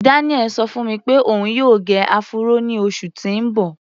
Daniel ṣọ fún mi pé òun yóò gẹ áfúró ní oṣù tí ń bọ̀.